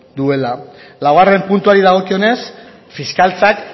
duela laugarren puntuari dagokionez fiskaltzak